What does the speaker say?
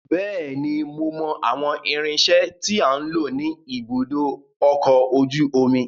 Bẹ́ẹ̀ni, mo mọ àwọn irinsẹ́ tí à ń lò ní ibùdó ọkọ̀ ojú omi.